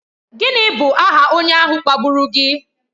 Gịnị bụ aha onye ahụ kpagburu gị?